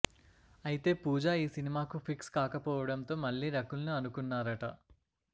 అయితే పూజా ఈ సినిమాకు ఫిక్స్ కాకపోవడంతో మళ్లీ రకుల్ ను అనుకున్నారట